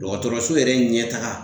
Dɔgɔtɔrɔso yɛrɛ ɲɛtaga